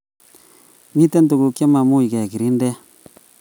Mitie tuguk che makimuchi kekirindee .